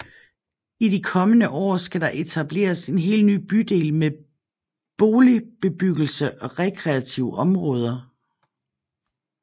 I de kommende år skal der etableres en helt ny bydel med boligbebyggelse og rekreative områder